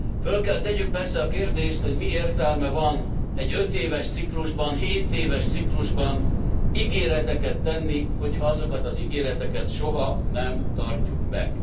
Föl kell tegyük persze a kérdést, hogy mi értelme van egy ötéves ciklusban, hétéves ciklusban ígéreteket tenni, hogyha azokat az ígéreteket soha nem tartjuk meg.